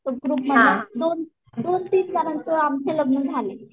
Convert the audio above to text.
तो ग्रुप मधला दोन दोन तीन जणांचं आमची लग्न झाली.